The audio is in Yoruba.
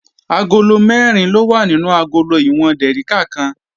Agolo mẹ́rin ló wà nínú agolo ìwọ̀n dèríkà kan